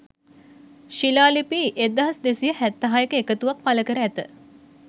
ශිලාලිපි 1276 ක එකතුවක් පළකර ඇත.